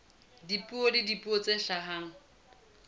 dipeo le dipeo tse hlahang